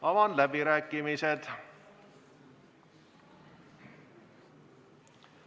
Avan läbirääkimised.